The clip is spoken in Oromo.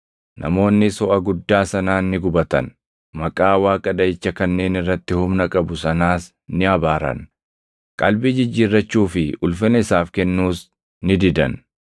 Namoonnis hoʼa guddaa sanaan ni gubatan; maqaa Waaqa dhaʼicha kanneen irratti humna qabu sanaas ni abaaran; qalbii jijjiirrachuu fi ulfina isaaf kennuus ni didan.